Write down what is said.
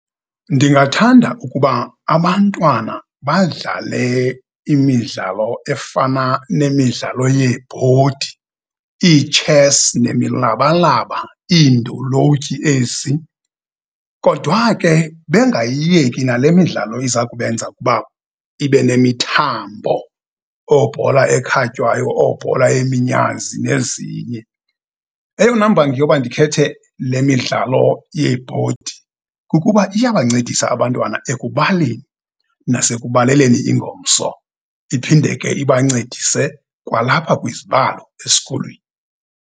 Ndingathanda ukuba abantwana badlale imidlalo efana nemidlalo yeebhodi, ii-chess nemilabalaba, iindolotyi ezi. Kodwa ke bengayiyeki nale midlalo iza kubenza ukuba ibe nemithambo, oobhola ekhatywayo, oobhola yeminyazi nezinye. Eyona mbangi yoba ndikhethe le midlalo yeebhodi kukuba iyabancedisa abantwana ekubaleni, nasekubaleleni ingomso iphinde ke ibancedise kwalapha kwizibalo esikolweni.